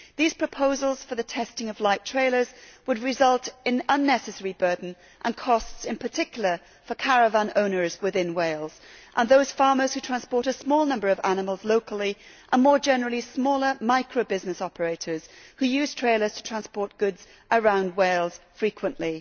These proposals for the testing of light trailers would result in unnecessary burden and costs, in particular for caravan owners in Wales, for farmers who transport a small number of animals locally, and more generally for smaller micro business operators who use trailers to transport goods around Wales frequently.